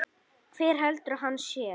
Hver heldur að hann sé?